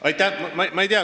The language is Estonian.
Aitäh!